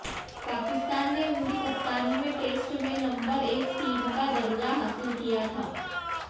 पाकिस्तान ने उनकी कप्तानी में टेस्ट में नंबर एक टीम का दर्जा हासिल किया था